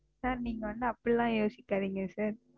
Sir நீங்க வந்து அப்படி எல்லாம் யோசிக்காதீங்க Sir.